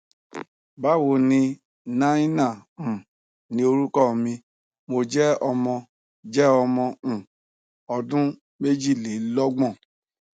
ba wo ni naina um ni orukọ mi mo jẹ ọmọ jẹ ọmọ um ọdun mejilelogbon